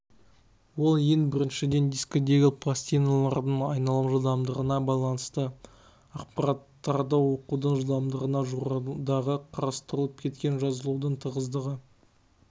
ол ең біріншіден дискідегі пластина-лардың айналым жылдамдығына байланысты ақпараттарды оқудың жылдамдығына жоғарыдағы қарастырылып кеткен жазылудың тығыздығы